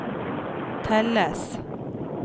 telles